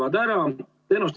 Asi seega korras.